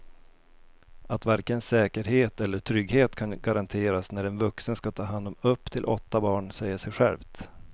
Att varken säkerhet eller trygghet kan garanteras när en vuxen ska ta hand om upp till åtta barn säger sig självt.